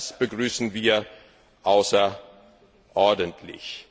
Das begrüßen wir außerordentlich!